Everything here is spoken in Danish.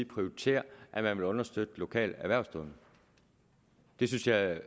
prioritere at man vil understøtte lokale erhvervsdrivende det synes jeg